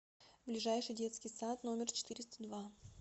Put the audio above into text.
ближайший детский сад номер четыреста два